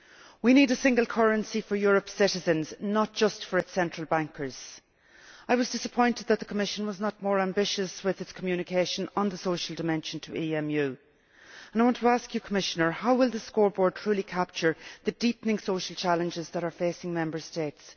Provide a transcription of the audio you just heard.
We need a single currency for Europe's citizens, not just for its central bankers. I was disappointed that the Commission was not more ambitious with its Communication on the social dimension to EMU, and I want to ask you, Commissioner, how will the scoreboard truly capture the deepening social challenges that are facing Member States?